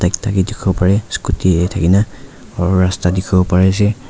Mota ekta ke dikhi bo parey scooty tey thakikena aru rasta dikhi bo parishe.